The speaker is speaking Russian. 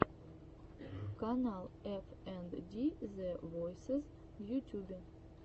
канал эф энд ди зэ войсез в ютюбе